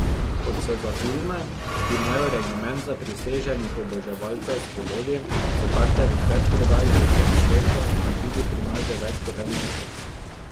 Kot se za filme, ki imajo regiment zapriseženih oboževalcev, spodobi, so karte v predprodaji po vsem svetu in tudi pri nas že več kot en mesec.